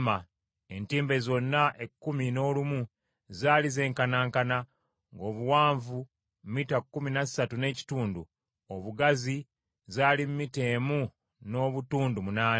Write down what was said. Entimbe zonna ekkumi n’olumu zaali zenkanankana: ng’obuwanvu mita kkumi na ssatu n’ekitundu, obugazi zaali mita emu n’obutundu munaana.